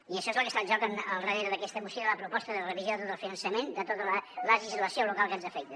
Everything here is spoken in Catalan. i això és el que està en joc al darrere d’aquesta moció i de la proposta de revisió de tot el finançament de tota la legislació local que ens afecta